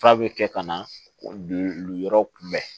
F'a bɛ kɛ ka na o lujuraw kun bɛn